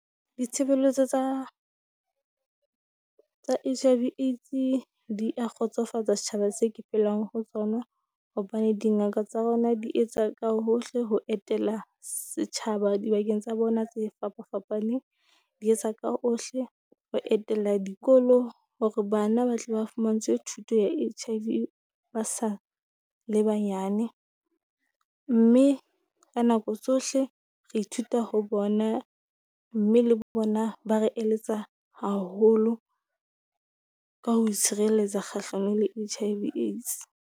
Ditshebeletso tsa tsa H_I_V AIDS-e di a kgotsofatsa setjhaba se ke phelang ho tsona, hobane dingaka tsa rona di etsa ka hohle ho etela setjhaba dibakeng tsa bona tse fapafapaneng. Di etsa ka ohle ho etella dikolo hore bana ba tle ba fumantshwe thuto ya H_IV ba sa le banyane, mme ka nako tsohle re ithuta ho bona. Mme le bo bona ba re eletsa haholo ka ho itshireletsa kgahlanong le H_I_V AIDS.